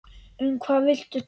Um hvað viltu tala?